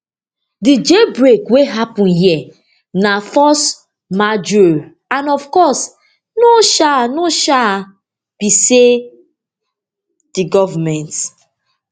di jail break wey happun here na force majeure and of course no um no um be say di goment